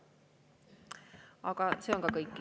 Aga see on ka kõik.